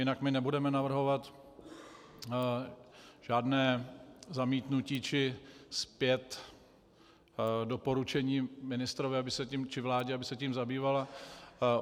Jinak my nebudeme navrhovat žádné zamítnutí či zpět doporučení ministrovi či vládě, aby se tím zabývala.